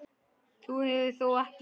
Þú hefur þó ekki.